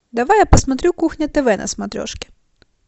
давай я посмотрю кухня тв на смотрешке